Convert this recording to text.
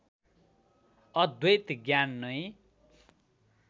अद्वैत ज्ञान नै